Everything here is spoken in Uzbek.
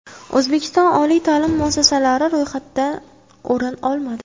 O‘zbekiston oliy ta’lim muassasalari ro‘yxatdan o‘rin olmadi.